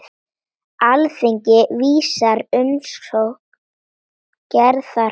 Alþingi vísar umsókn Gerðar frá.